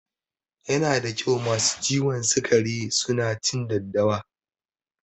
Yana da kyau masu ciwon sikari su na cin daddawa